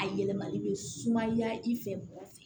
A yɛlɛmali bɛ sumaya i fɛ bonya fɛ